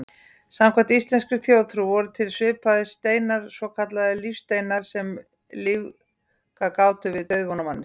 Samkvæmt íslenskri þjóðtrú voru til svipaðir steinar, svokallaðir lífsteinar, sem lífgað gátu við dauðvona manneskjur.